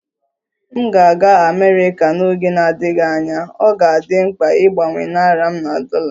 M ga-aga Amerika n'oge na-adịghị anya, ọ ga-adị m mkpa ịgbanwe naịra m na dollar